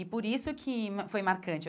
E por isso que foi marcante.